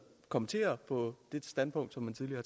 kommentere det standpunkt